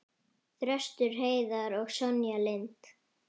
Þröstur Heiðar og Sonja Lind.